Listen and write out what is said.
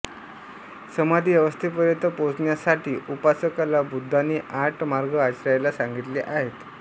समाधी अवस्थेपर्यंत पोचण्यासाठी उपासकाला बुद्धाने आठ मार्ग आचरायला सांगिले आहेत